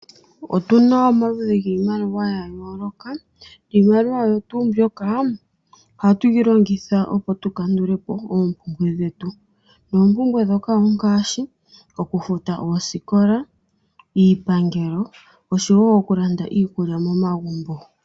Otuna omaludhi giimaliwa ya yooloka. Iimaliwa oyo tuu mbyoka ohatuyi longitha okukandulapo oompumbwe dhetu ompumbwe ongaashi okufuta oosikola, iikulya yomomagumbo.